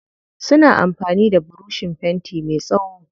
Suna amfani da burushin fenti me tsawo.